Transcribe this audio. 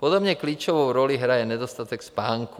Podobně klíčovou roli hraje nedostatek spánku.